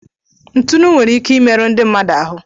ntụnụ nwere ike imerụ ndị mmadụ ahụ.